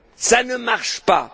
ça ne marche pas?